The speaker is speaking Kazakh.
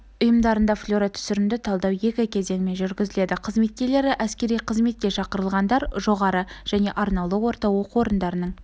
ұйымдарында флюоротүсірімді талдау екі кезеңмен жүргізіледі қызметкерлері әскери қызметке шақырылғандар жоғары және арнаулы орта оқу орындарының